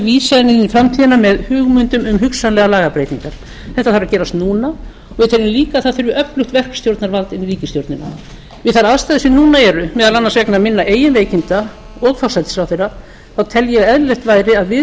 vísa henni inn í framtíðina með hugmyndum um hugsanlegar lagabreytingar þetta þarf að gerast núna svo tel ég líka að öflugt verkstjórnarvald þurfi inn í ríkisstjórnina við þær aðstæður sem núna eru meðal annars vegna minna eigin veikinda og forsætisráðherra tel ég að eðlilegt væri að við